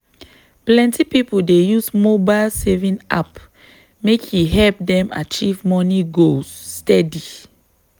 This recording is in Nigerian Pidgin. plenty people dey use mobile saving app make e help them achieve money goals steady.